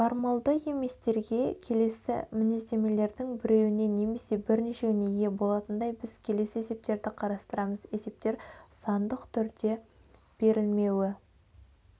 формалды еместерге келесі мінездемелердін біреуіне немесе бірнешеуіне ие болатындай біз келесі есептерді қарастырамыз есептер сандық түрде берілмеуі